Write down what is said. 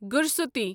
گُرسوتی